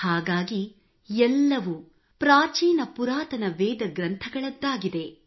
ಹಾಗಾಗಿ ಎಲ್ಲವೂ ಪ್ರಾಚೀನ ಪುರಾತನ ವೇದ ಗ್ರಂಥಗಳದ್ದಾಗಿದೆ